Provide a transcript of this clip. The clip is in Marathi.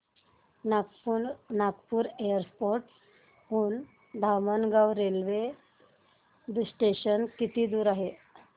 नागपूर एअरपोर्ट हून धामणगाव रेल्वे स्टेशन किती दूर आहे